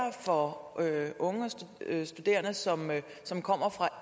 for unge studerende som som kommer fra